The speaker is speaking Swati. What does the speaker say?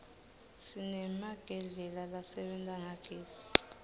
sinemagedlela lasebenta ngagezi